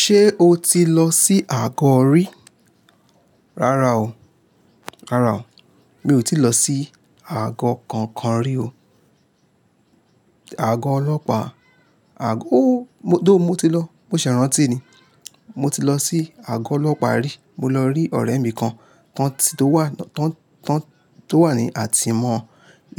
Ṣé o ti lọ sí Àgọ́ rí? Rárá o, rárá o, mi ò ti lọ sí Àgọ́ kankan rí o. Àgọ́ Ọlọ́pàá, àgọ́ ó, mo tho mo ti lọ, mo ṣẹ̀ rántí ni. Mo ti lọ sí Àgọ́ Ọlọ́pàá rí, mo lọ rí ọ̀rẹ́ mi kan tan ti tó wà, tan, tó wà ní à tímọ́